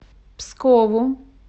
пскову